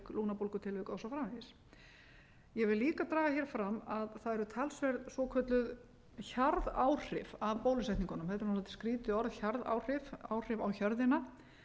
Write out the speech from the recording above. framvegis ég vil líka draga hér fram að það eru talsverð svokölluð hjarðáhrif af bólusetningunum þetta er dálítið skrýtið orð hjarðáhrif áhrif á hjörðina